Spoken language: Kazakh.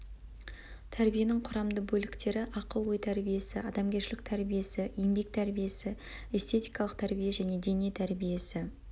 тәрбиенің құрамды бөліктері ақыл ой тәрбиесі адамгершілік тәрбиесі еңбек тәрбиесі эстетикалық тәрбие және дене тәрбиесі